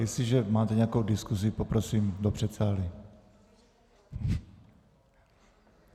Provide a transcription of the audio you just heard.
Jestliže máte nějakou diskuzi, poprosím do předsálí.